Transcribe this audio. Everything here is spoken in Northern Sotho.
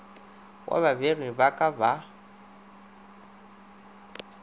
wa babegedi ba ka ba